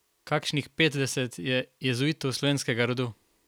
Kakšnih petdeset je jezuitov slovenskega rodu.